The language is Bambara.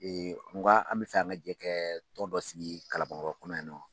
Ee nko an bɛ fɛ an ka jɛɛ kɛ ton dɔ sigi Kalankɔrɔ kɔnɔ yan nɔ.